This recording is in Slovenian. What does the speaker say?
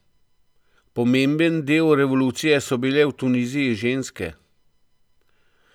Pomemben del revolucije so bile v Tuniziji ženske.